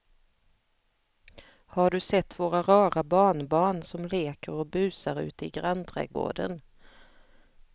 Har du sett våra rara barnbarn som leker och busar ute i grannträdgården!